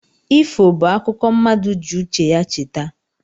Ifo bụ akụkọ mmadụ ji uche ya cheta